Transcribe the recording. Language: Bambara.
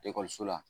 Ekɔliso la